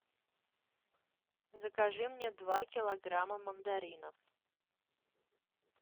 закажи мне два килограмма мандаринов